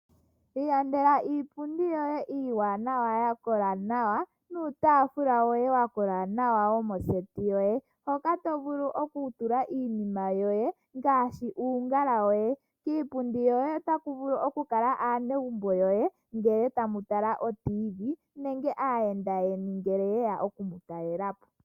Ilandela iipundi yoye iiwanawa ya kola nawa nuutaafula woye wa kola nawa womoseti yoye hoka to vulu oku tula iinima yoye ngaashi uungala woye, kiipundi yoye otaku vulu oku kala aanegumbo yoye ngele tamu tala otv nenge aayenda yeni ngele ye ya oku mu talela po.